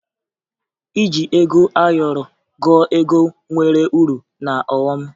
Iji ego ayọrọ gụọ ego nwere uru na ọghọ m